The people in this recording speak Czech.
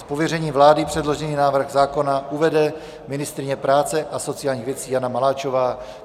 Z pověření vlády předložený návrh zákona uvede ministryně práce a sociálních věcí Jana Maláčová.